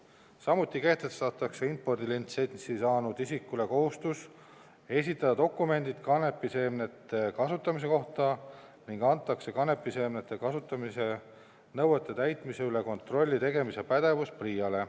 Samuti kehtestatakse impordilitsentsi saanud isikule kohustus esitada dokumendid kanepiseemnete kasutamise kohta ning antakse kanepiseemnete kasutamise nõuete täitmise üle kontrolli tegemise pädevus PRIA-le.